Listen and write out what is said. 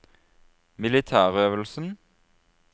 militærøvelsen